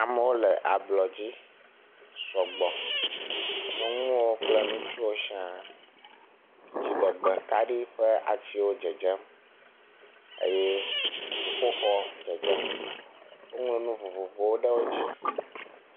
Amewo le ablɔdzi sɔgbɔ nyɔnuwo kple ŋutsuwo siadziɖegbe kaɖi ƒe atiwo dzedzem eye dziƒoxɔ dzedzem woŋlɔ nu vovovowo ɖe dzi